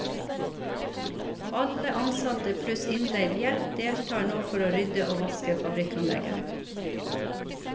Alle ansatte pluss innleid hjelp deltar nå for å rydde og vaske fabrikkanlegget.